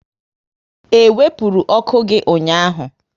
E wepụrụ ọkụ gị ụnyaahụ?